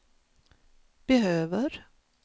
behöver